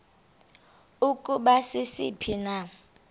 ukuba sisiphi na